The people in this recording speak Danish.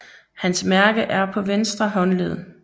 Hans mærke er på ventre håndled